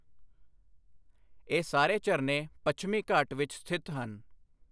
ਇਹ ਸਾਰੇ ਝਰਨੇ ਪੱਛਮੀ ਘਾਟ ਵਿੱਚ ਸਥਿਤ ਹਨ।